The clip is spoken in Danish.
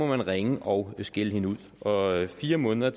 man ringe og skælde hende ud og fire måneder